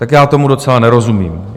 Tak já tomu docela nerozumím.